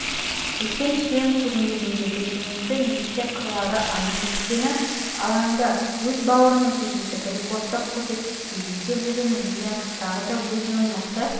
үлкен шлем туриниріндегі жеңісі есте қалары анық өйікені алаңда өз бауырымен кездесіп рекордтық көрсеткішке жете білген уильямс тағы да өзінің мықты